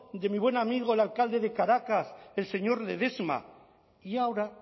de mi buen amigo el alcalde de caracas el señor ledesma y ahora